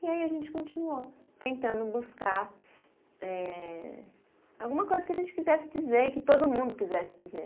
E aí a gente continuou tentando buscar eh, alguma coisa que a gente quisesse dizer, que todo mundo quisesse dizer.